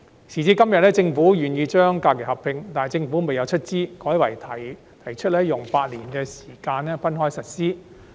時至今天，雖然政府願意劃一假期日數，但卻不會出資，改為用8年逐步實施。